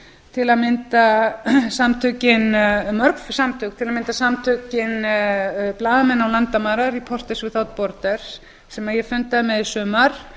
til að mynda samtökin mörg samtök til að mynda samtökin blaðamenn án landamæra reporters without borders sem ég fundaði með í sumar